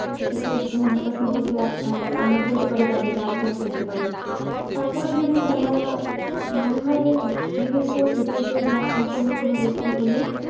একটু ধর্মটা সম্পর্কে আমরা বলতে পারি তাদেরকে আলোচনা করতে পারি। তারপরে যদি তারা মনে হয় বিবেকবোধ হৃতা হৃতো জ্ঞান সম্পন্ন কোন ব্যক্তি হলে,